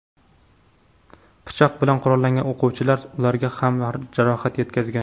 Pichoq bilan qurollangan o‘quvchilar ularga ham jarohat yetkazgan.